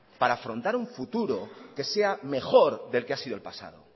para afrontar un futuro que sea mejor del que ha sido el pasado